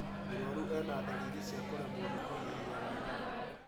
Mũrwaru ena ndariri cia kũremwo nĩ kũhihia wega